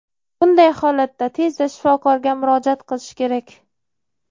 Bunday holatda tezda shifokorga murojaat qilish kerak.